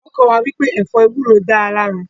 Wọ́n kọ́ wá wípé ẹ̀fọ́ ewúro dáa lára